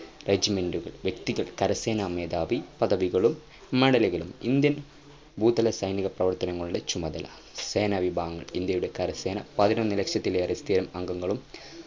വ്യക്തികൾ കര സേന മേധാവി പദവികളും medal ലുകളും Indian സൈനിക പ്രവർത്തനങ്ങളുടെ ചുമതല സേന വിഭവങ്ങൾ ഇന്ത്യയുടെ കര സേന പതിനൊന്നു ലക്ഷത്തിലേറെ stay അംഗങ്ങളും